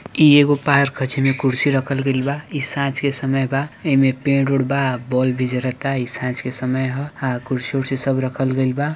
ई एगो पार्क है जिमे कुर्सी रखल गईल बा ई साँझ के समय बा ईमें पेड़ उड़ बा बल्ब भी जलता ई साँझ के समय है हैं कुर्सी उर्सि सब रखलगई बा।